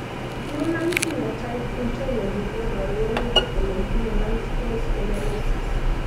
human Phenotype Ontology koporu wolutik kole itinye Multiple sclerosis.